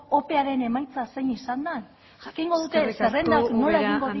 opearen emaitza zein izan da jakingo dute zerrendak nola